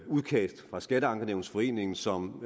udkast fra skatteankenævnsforeningen som